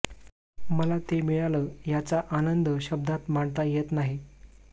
मला ते मिळालं याचा आनंद शब्दांत मांडता येत नाही